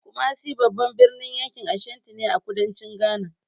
Kumasi babban birnin yankin Ashanti ne, a kudancin Ghana.